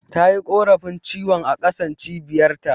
Tayi korafi ciwon a ƙasan Cibiyar ta